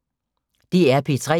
DR P3